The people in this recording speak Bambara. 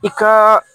I ka